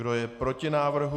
Kdo je proti návrhu?